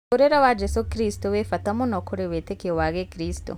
Mũtũrĩre wa Jesũ Kristo wĩbata mũno kũrĩ wĩtĩkio wa gĩkristo.